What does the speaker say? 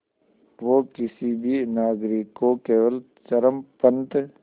वो किसी भी नागरिक को केवल चरमपंथ